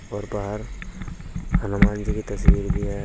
और बाहर हनुमान जी की तस्वीर भी है।